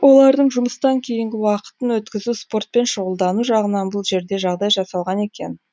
олардың жұмыстан кейінгі уақытын өткізу спортпен шұғылдану жағынан бұл жерде жағдай жасалған екен